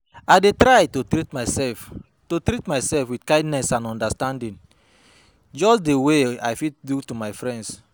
I dey try to treat myself to treat myself with kindness and understanding, just di way i fit do to my friend.